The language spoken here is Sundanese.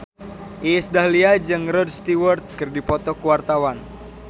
Iis Dahlia jeung Rod Stewart keur dipoto ku wartawan